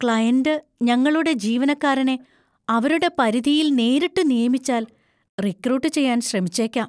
Client ഞങ്ങളുടെ ജീവനക്കാരനെ അവരുടെ പരിധിയിൽ നേരിട്ട് നിയമിച്ചാൽ റിക്രൂട്ട് ചെയ്യാൻ ശ്രമിച്ചേക്കാം.